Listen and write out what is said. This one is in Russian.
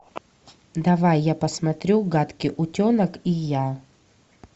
давай я посмотрю гадкий утенок и я